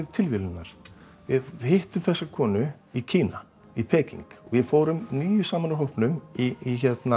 tilviljunina við hittum þessa konu í Kína í Peking við fórum níu saman úr hópnum í